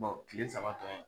kile sabatɔ ye.